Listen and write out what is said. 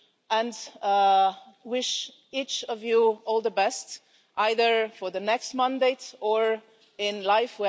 and wish each of you all the best, either for the next mandate or in life.